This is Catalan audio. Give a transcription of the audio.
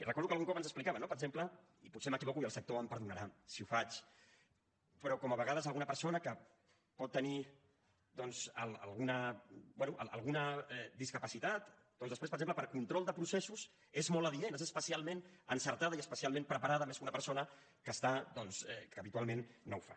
recordo que algun cop ens explicava per exemple i potser m’equivoco i el sector em perdonarà si ho faig però com que a vegades alguna persona que pot tenir alguna bé alguna discapacitat doncs després per exemple per a control de processos és molt adient és especialment encertada i especialment preparada més que una persona que està doncs que habitualment no ho fa